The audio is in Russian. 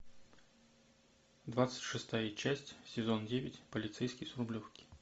двадцать шестая часть сезон девять полицейский с рублевки